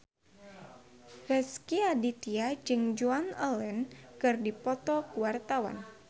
Rezky Aditya jeung Joan Allen keur dipoto ku wartawan